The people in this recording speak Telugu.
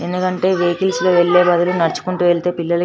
ఎందుకంటే వచ్లీస్ వెళ్ళే బదులు నడుచుకుంటూ వెళ్తే పిల్లలకి --